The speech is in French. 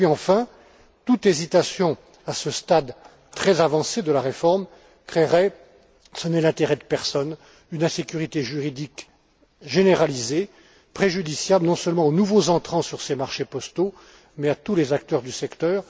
Et puis enfin, toute hésitation à ce stade très avancé de la réforme créerait, ce n'est l'intérêt de personne, une insécurité juridique généralisée, préjudiciable non seulement aux nouveaux entrants sur ces marchés postaux, mais à tous les acteurs du secteur.